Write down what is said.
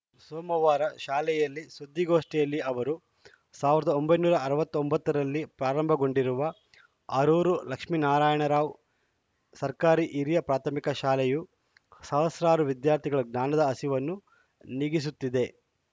ಸೋಮವಾರ ಶಾಲೆಯಲ್ಲಿ ಸುದ್ದಿಗೋಷ್ಠಿಯಲ್ಲಿ ಅವರು ಸಾವಿರದ ಒಂಬೈನೂರ ಅರವತ್ತ್ ಒಂಬತ್ತ ರಲ್ಲಿ ಪ್ರಾರಂಭಗೊಂಡಿರುವ ಆರೂರು ಲಕ್ಷ್ಮೇನಾರಾಯಣ ರಾವ್‌ ಸರ್ಕಾರಿ ಹಿರಿಯ ಪ್ರಾಥಮಿಕ ಶಾಲೆಯು ಸಹಸ್ರಾರು ವಿದ್ಯಾರ್ಥಿಗಳ ಜ್ಞಾನದ ಹಸಿವನ್ನು ನೀಗಿಸುತ್ತಿದೆ